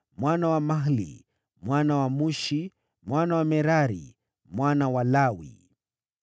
mwana wa Mahli, mwana wa Mushi, mwana wa Merari, mwana wa Lawi.